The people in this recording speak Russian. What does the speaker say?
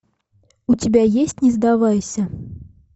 у тебя есть не сдавайся